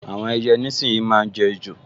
Àwọn èèyàn nísìínyi máa n jẹ ejò